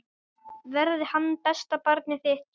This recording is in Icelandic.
Verði hann besta barnið þitt.